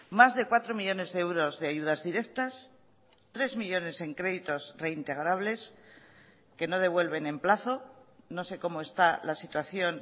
más de cuatro millónes de euros de ayudas directas tres millónes en créditos reintegrables que no devuelven en plazo no sé cómo está la situación